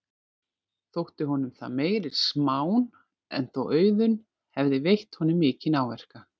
Þótti honum það meiri smán en þó Auðunn hefði veitt honum mikinn áverka.